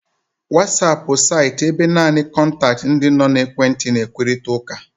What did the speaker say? Whatsapp bu saịtị ebe naanị kọntaktị ndị nọ n'ekwentị na-ekwurịta okwu.